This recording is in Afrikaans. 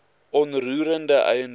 onroerende eiendom waarop